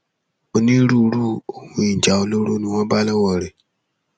onírúurú ohun ìjà olóró ni wọn bá lọwọ rẹ